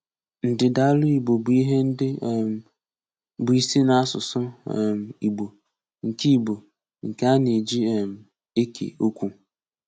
Ndídaálù Ìgbò bụ́ ihe ndị um bụ́ isi n’asụ̀sụ́ um Ìgbò, nke Ìgbò, nke a na-eji um ékè okwu.